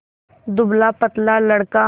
दुबलापतला लड़का